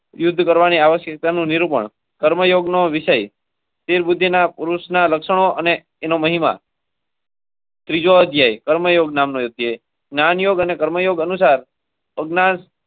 Use કરવાની આવશ્યકતાનું નિરૂપણ કર્મયોગનો વિષય.